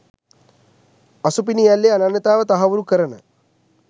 අසුපිනිඇල්ලේ අනන්‍යතාව තහවුරු කරන